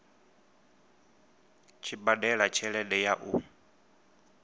tshi badela tshelede ya u